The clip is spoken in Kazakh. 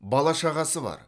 бала шағасы бар